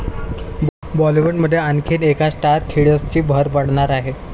बॉलिवूडमध्ये आणखीन एका स्टार किड्सची भर पडणार आहे.